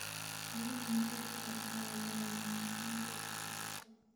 Biyaha nadiifka ah ayaa lagama maarmaan u ah dhirta.